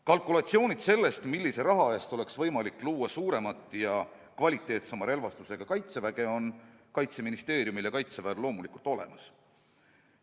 Kalkulatsioonid, kui suure summa eest oleks võimalik luua suuremat ja kvaliteetsema relvastusega kaitsejõudu, on Kaitseministeeriumil ja Kaitseväel loomulikult olemas.